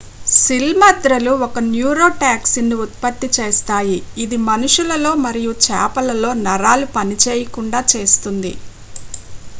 సిల్మద్రలు ఒక న్యూరోటాక్సిన్ను ఉత్పత్తి చేస్తాయి ఇది మనుషులలో మరియు చేపలలో నరాలు పనిచేయకుండా చేస్తుంది